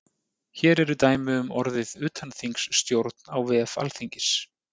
hér eru dæmi um orðið utanþingsstjórn á vef alþingis